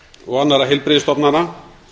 og annarra heilbrigðisstofnana